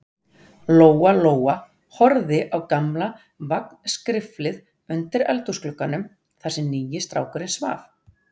Lóa-Lóa horfði á gamla vagnskriflið undir eldhúsglugganum, þar sem nýi strákurinn svaf.